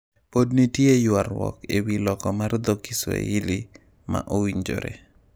Pod nitie ywarruok ewi loko mar Dho Kiswahili ma owinjore.